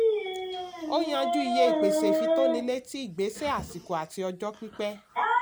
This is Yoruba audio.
ó yànjú iye pèsè ìfitónilétí ìgbésẹ àsìkò àti ọjọ́ pípẹ́.